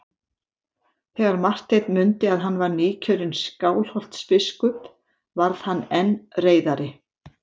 Þegar Marteinn mundi að hann var nýkjörinn Skálholtsbiskup varð hann enn reiðari.